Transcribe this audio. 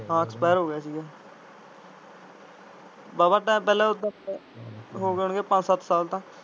ਹਾਂ ਐਕਸਪੈਰ ਹੋ ਗਿਆ ਸੀ ਗਾ ਵਾਹਵਾ ਟਾਈਮ ਪਹਿਲਾ ਹੋ ਗਏ ਹੋਣ ਗਏ ਪੰਜ ਸੱਤ ਸਾਲ ਤਾਂ।